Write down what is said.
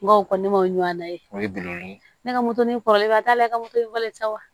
N go o kɔni ma ɲana ye o ye bilen ne ka kɔrɔlen ba t'a la i ka moto falen sa wa